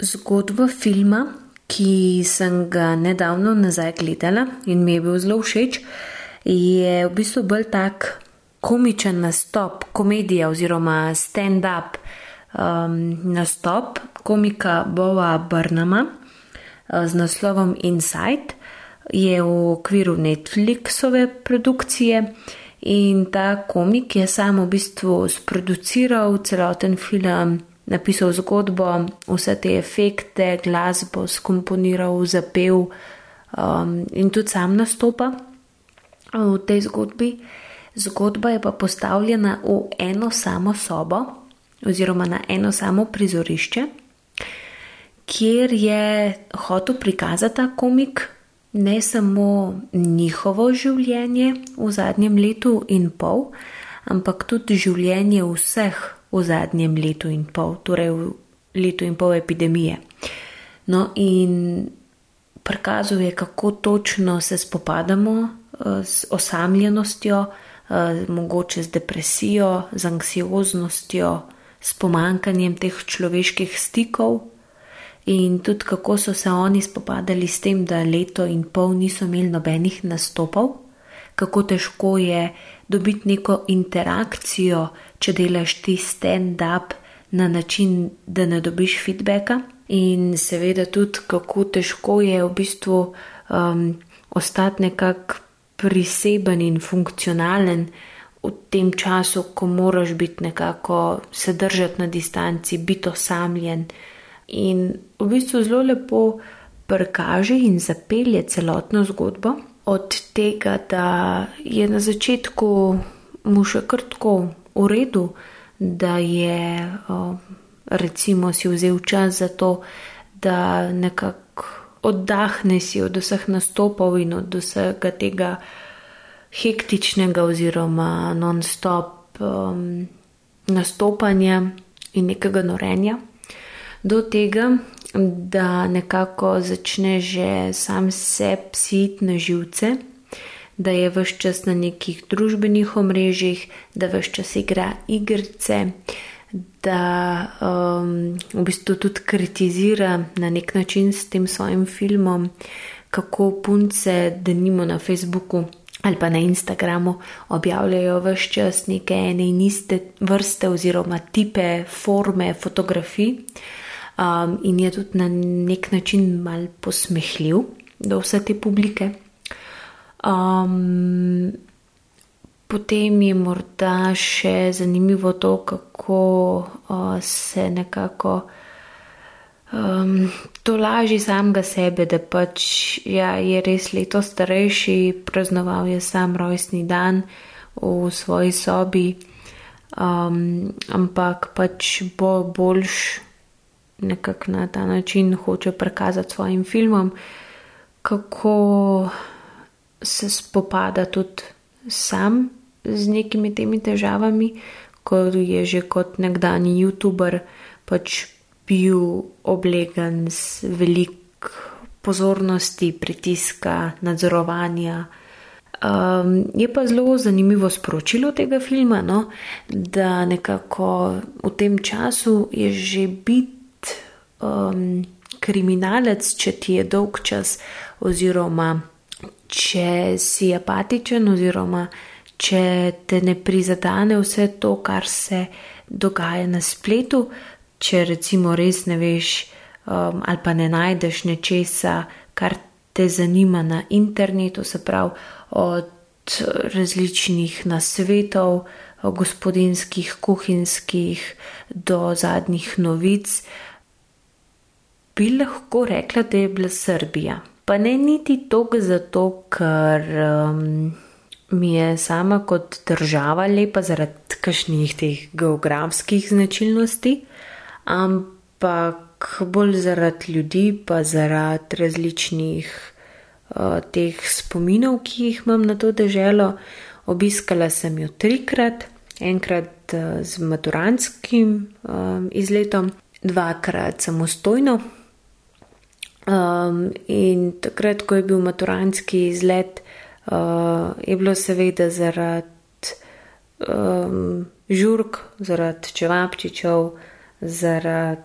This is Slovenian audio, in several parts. Zgodba filma, ki sem ga nedavno nazaj gledala in mi je bil zelo všeč, je v bistvu bolj tako komičen nastop, komedija oziroma standup nastop komika Boa Burnhama, z naslovom Inside. Je v okviru Netflixove produkcije in ta komik je samo v bistvu sproduciral celoten film, napisal zgodbo, vse te efekte, glasbo skomponiral, zapel, in tudi sam nastopa, v tej zgodbi. Zgodba je pa postavljena v eno samo sobo oziroma na eno samo prizorišče, kjer je hotel prikazati ta komik ne samo njihovo življenje v zadnjem letu in pol, ampak tudi življenje vseh v zadnjem letu in pol, torej v letu in pol epidemije. No, in prikazal je, kako točno se spopadamo, z osamljenostjo, mogoče z depresijo, z anksioznostjo, s pomanjkanjem teh človeških stikov in tudi, kako so se oni spopadali s tem, da leto in pol niso imeli nobenih nastopov. Kako težko je dobiti neko interakcijo, če delaš ti standup na način, da ne dobiš feedbacka, in seveda tudi, kako težko je v bistvu, ostati nekako priseben in funkcionalen v tem času, ko moraš biti nekako, se držati na distanci, biti osamljen. In v bistvu zelo lepo prikaže in zapelje celotno zgodbo, od tega, da je na začetku mu še kar tako v redu, da je, recimo si vzeli čas za to, da nekako oddahne si od vseh nastopov in od vsega tega hektičnega oziroma nonstop, nastopanja in nekega norenja, do tega, da nekako začne že sam sebi si iti na živce, da je ves čas na nekih družbenih omrežjih, da ves čas igra igrice, da, v bistvu tudi kritizira na neki način s tem svojim filmom, kako punce denimo na Facebooku ali pa na Instagramu objavljajo ves čas neke ene in iste vrste oziroma tipe, forme fotografij, in je tudi na neki način malo posmehljiv do vse te publike. potem je morda še zanimivo to, kako, se nekako, tolaži samega sebe, da pač ja, je res leto starejši, praznoval je sam rojstni dan, v svoji sobi, ampak pač bo boljše. Nekako na ta način hoče prikazati s svojim filmom, kako se spopada tudi sam z nekimi temi težavami, ke je že kot nekdanji youtuber pač bil oblegan z veliko pozornosti, pritiska, nadzorovanja. je pa zelo zanimivo sporočilo tega filma, no, da nekako v tem času je že biti, kriminalec, če ti je dolgčas oziroma če si apatičen oziroma če te ne prizadene vse to, kar se dogaja na spletu, če recimo res ne veš, ali pa ne najdeš nečesa, kar te zanima, na internetu, se pravi od različnih nasvetov gospodinjskih, kuhinjskih, do zadnjih novic. Bi lahko rekla, da je bila Srbija. Pa ne niti toliko zato, ker, mi je sama kot država lepa, zaradi kakšnih teh geografskih značilnosti, ampak bolj zaradi ljudi pa zaradi različnih, teh spominov, ki jih imam na to deželo, obiskala sem jo trikrat. Enkrat, z maturantskim, izletom, dvakrat samostojno. in takrat, ko je bil maturantski izlet, je bilo seveda zaradi, žurk, zaradi čevapčičev, zaradi,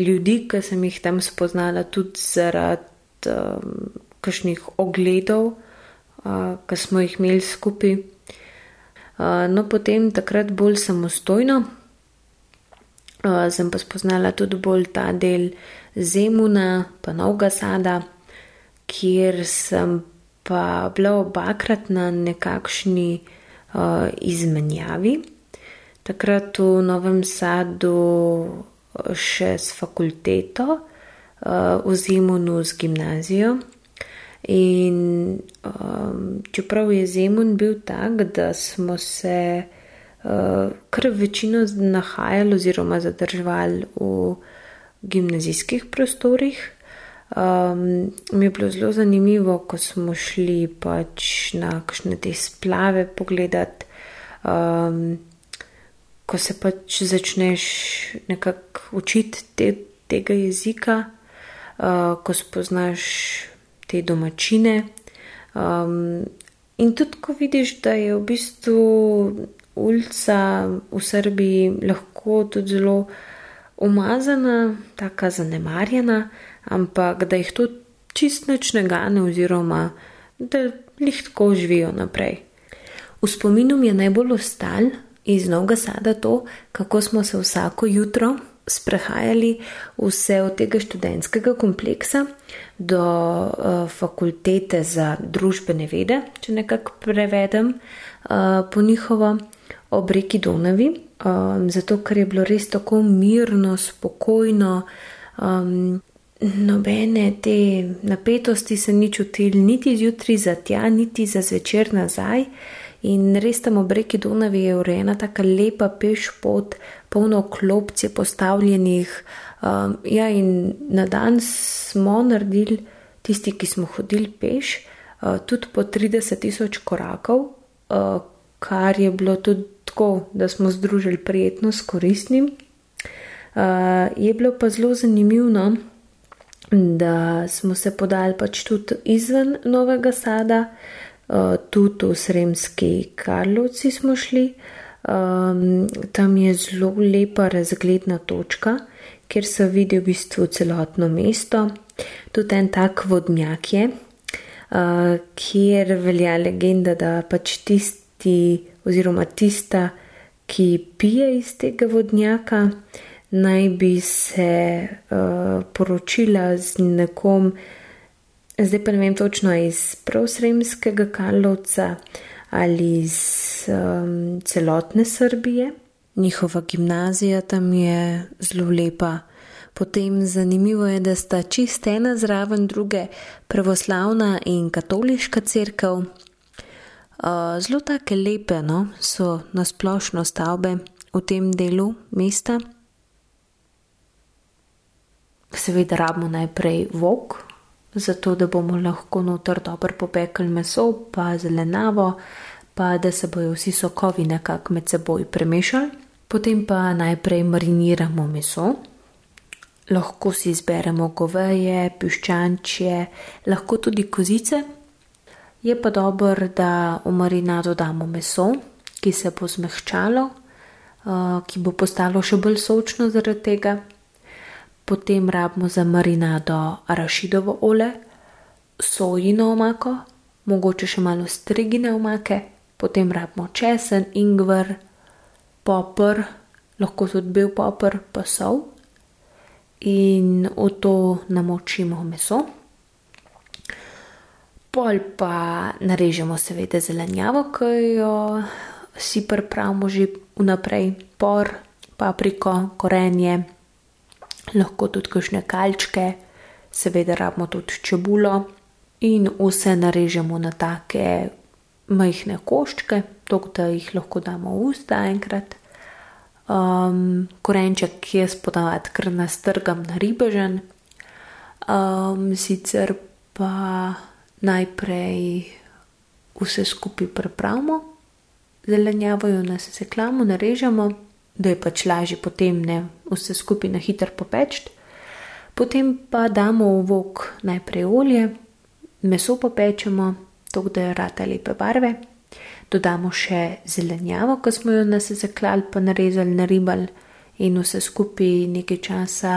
ljudi, ki sem jih tam spoznala, tudi zaradi, kakšnih ogledov, ki smo jih imeli skupaj. no potem, takrat bolj samostojno. sem pa spoznala tudi bolj ta del Zemuna pa Novega Sada, kjer sem pa bila obakrat na nekakšni, izmenjavi. Takrat v Novem Sadu še s fakulteto, v Zemunu z gimnazijo. In, čeprav je Zemun bil tako, da smo se, ker večino nahajali oziroma zadrževali v gimnazijskih prostorih, mi je bilo zelo zanimivo, ko smo šli pač na kakšne te splave pogledat, ko se pač začneš nekako učiti tega jezika, ko spoznaš te domačine. in tudi ko vidiš, da je v bistvu ulica v Srbiji lahko tudi zelo umazana, taka zanemarjena, ampak da jih to čisto nič ne gane oziroma da glih tako živijo naprej. V spominu mi je najbolj ostalo iz Novega Sada to, kako smo se vsako jutro sprehajali vse od tega študentskega kompleksa do, fakultete za družbene vede, če nekako prevedem, po njihovo, ob reki Donavi, zato, ker je bilo res tako mirno, spokojno, nobene te napetosti se ni čutilo niti zjutraj za tja niti za zvečer nazaj. In res, tam ob reki Donavi je urejena taka lepa pešpot, polno klopc je postavljenih. ja, in na dan smo naredili tisti, ki smo hodili peš, tudi po trideset tisoč korakov, kar je bilo tudi tako, da smo združili prijetno s koristnim. je bilo pa zelo zanimivo, no, da smo se podali pač tudi izven Novega Sada, tudi v Sremski Karlovci smo šli. tam je zelo lepa razgledna točka, kjer se vidi v bistvu celotno mesto. Tudi en tak vodnjak je, kjer velja legenda, da pač tisti oziroma tista, ki pije iz tega vodnjaka, naj bi se, poročila z nekom, zdaj pa ne vem točno, a je iz prav Sremskega Karlovca ali je iz, celotne Srbije. Njihova gimnazija tam je zelo lepa. Potem zanimivo je, da sta čisto ena zraven druge pravoslavna in katoliška cerkev. zelo take lepe, no, so na splošno stavbe v tem delu mesta. Seveda rabimo najprej vok, zato, da bomo lahko noter dobro popekli meso pa zelenjavo pa da se bojo vsi sokovi nekako med seboj premešali. Potem pa najprej mariniramo meso, lahko si izberemo goveje, piščančje, lahko tudi kozice. Je pa dobro, da v marinado damo meso, ki se bo zmehčalo, ki bo postalo še bolj sočno zaradi tega. Potem rabimo za marinado arašidovo olje, sojino omako, mogoče še malo ostrigine omake. Potem rabimo česen, ingver, poper, lahko tudi bel poper, pa sol. In v to namočimo meso. Pol pa narežemo seveda zelenjavo, ke jo si pripravimo že vnaprej. Por, papriko, korenje, lahko tudi kakšne kalčke. Seveda rabimo tudi čebulo. In vse narežemo na take majhne koščke, toliko, da jih lahko damo v usta enkrat. korenček jaz ponavadi kar nastrgam na ribežen, sicer pa najprej vse skupaj pripravimo zelenjavo, jo nasekljamo, narežemo, da je pač lažje potem, ne, vse skupaj na hitro popeči. Potem pa damo v vok najprej olje, meso popečemo, toliko, da rata lepe barve. Dodamo še zelenjavo, ki smo jo nasesekljali pa narezali, naribali, in vse skupaj nekaj časa,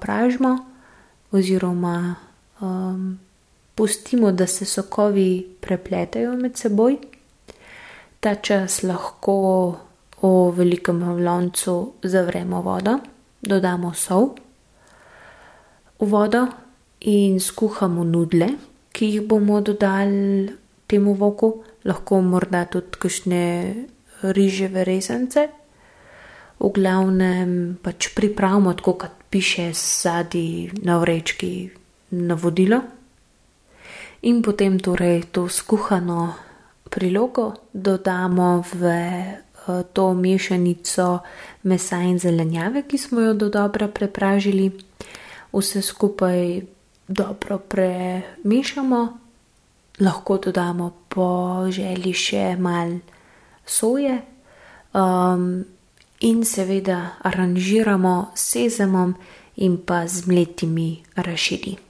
pražimo oziroma, pustimo, da se sokovi prepletejo med seboj. Ta čas lahko v velikem loncu zavremo vodo, dodamo sol v vodo in skuhamo nudeljne, ki jih bomo dodali temu voku. Lahko morda tudi kakšne riževe rezance. V glavnem pač pripravimo tako, kot piše zadaj na vrečki navodilo. In potem torej to skuhano prilogo dodamo v, to mešanico mesa in zelenjave, ki smo jo dodobra prepražili. Vse skupaj dobro premešamo, lahko dodamo po želji še malo soje. in seveda aranžiramo s sezamom in pa z mletimi arašidi.